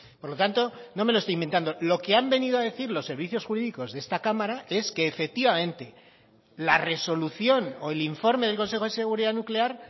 por lo tanto no me lo estoy inventando lo que han venido a decir los servicios jurídicos de esta cámara es que efectivamente la resolución o el informe del consejo de seguridad nuclear